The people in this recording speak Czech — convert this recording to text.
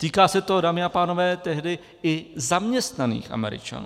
Týká se to, dámy a pánové, tehdy i zaměstnaných Američanů.